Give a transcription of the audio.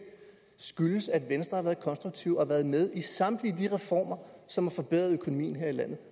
skyldes at venstre har været konstruktive og har været med i samtlige af de reformer som har forbedret økonomien her i landet